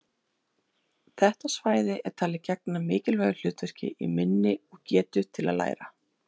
Þetta svæði er talið gegna mikilvægu hlutverki í minni og getu til að læra.